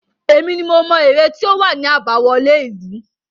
Èmi ni mo mọ ère tí ó wà ní àbáwọlé ìlú.